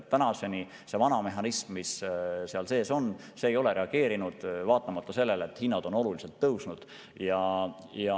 Tänaseni see vana mehhanism, mis olemas on, ei ole reageerinud, vaatamata sellele, et hinnad on oluliselt tõusnud.